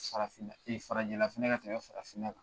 Farafinna e farajɛla fana ka tɛmɛ farafinna kan